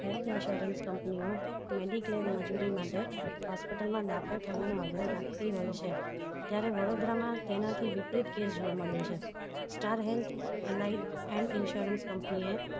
Health insurance company ઓ mediclaim મજુરી માટે hospital મા દાખલ થવાનો આગ્રહ રાખતી હોય છે ત્યારે વડોદરામાં તેનાંથી વિપરીત case જોવા મળ્યો છે star health LI and insurance company A